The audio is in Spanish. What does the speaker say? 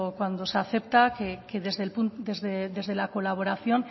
cuando se acepta que desde la colaboración